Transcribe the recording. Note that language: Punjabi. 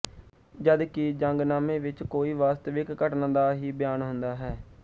ਜਦਕਿ ਜੰਗਨਾਮੇ ਵਿੱਚ ਕੋਈ ਵਾਸਤਵਿਕ ਘਟਨਾ ਦਾ ਹੀ ਬਿਆਨ ਹੁੰਦਾ ਹੈ